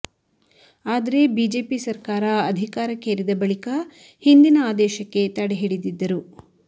ಆದರೆ ಬಿಜೆಪಿ ಸರ್ಕಾರ ಅಧಿಕಾರಕ್ಕೇರಿದ ಬಳಿಕ ಹಿಂದಿನ ಆದೇಶಕ್ಕೆ ತಡೆ ಹಿಡಿದಿದ್ದರು